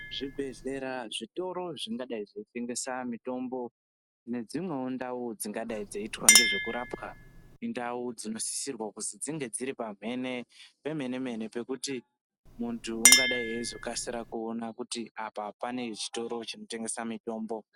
Zvibhehlera zvitoro zvengadai zveitengesa mutombo nedzimweni dzingadai dzeiitwa ngezvekurapwa ndau dzinosisirwa kuti dzinge dziri pamhene pemene mene pekuti muntu ungadai eizokasira kuona kuti apa panezvitoro zvinotengesa mitombo